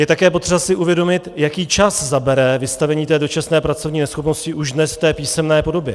Je také potřeba si uvědomit, jaký čas zabere vystavení té dočasné pracovní neschopnosti už dnes v té písemné podobě.